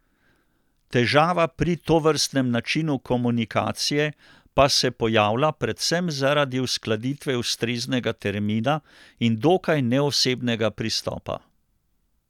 Težava pri tovrstnem načinu komunikacije pa se pojavlja predvsem zaradi uskladitve ustreznega termina in dokaj neosebnega pristopa.